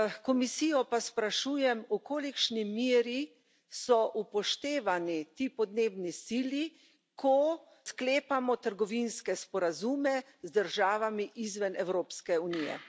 Komisijo pa sprašujem, v kolikšni meri so upoštevani ti podnebni cilji, ko sklepamo trgovinske sporazume z državami izven Evropske unije?